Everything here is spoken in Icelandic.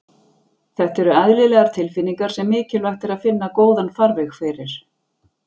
Þetta eru eðlilegar tilfinningar sem mikilvægt er að finna góðan farveg fyrir.